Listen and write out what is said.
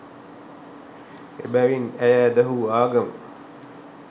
එබැවින් ඇය ඇදහූ ආගම